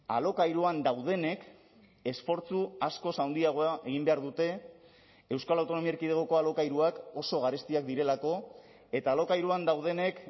alokairuan daudenek esfortzu askoz handiagoa egin behar dute euskal autonomia erkidegoko alokairuak oso garestiak direlako eta alokairuan daudenek